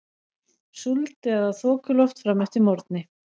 Súld eða þokuloft fram eftir morgni